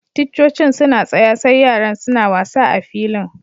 Ticcocin suna tsaya sai yaran suna wasa a'filin.